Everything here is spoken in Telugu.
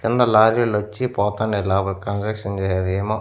కింద లారీలొచ్చి పోతాండాయి లోపలకి కన్స్ట్రక్షన్ చేసేదేమో.